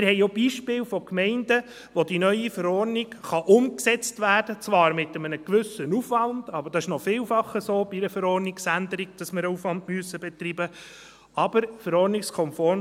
Wir haben auch Beispiele von Gemeinden, wo die neue Verordnung umgesetzt werden kann, zwar mit einem gewissen Aufwand – es ist noch vielfach so bei einer Verordnungsänderung, dass wir einen Aufwand betreiben müssen –, aber verordnungskonform.